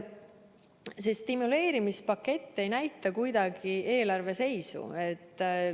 See stimuleerimispakett ei näita kuidagi eelarve seisu.